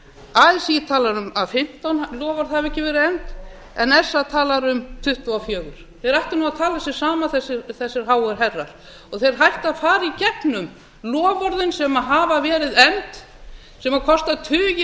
así talar um að fimmtán loforð hafi ekki verið efnd en sa talar um tuttugu og fjögur þeir ættu nú að tala sig saman þessir háu herrar þeir ættu að fara í gegnum loforðin sem hafa verið efnd sem kosta tugi